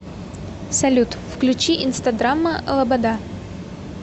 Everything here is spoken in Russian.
салют включи инстадрама лобода